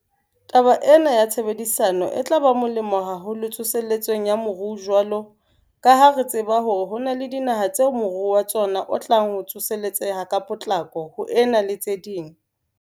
Taba ena ya tshebedisano e tla ba molemo haholo tsoseletsong ya moruo jwalo ka ha re tseba hore ho na le dinaha tseo moruo wa tsona o tlang ho tsoseletseha ka potlako ho ena le tse ding.